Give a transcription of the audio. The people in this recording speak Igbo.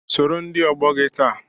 Sọrọ ndị ọgbọ gị taa!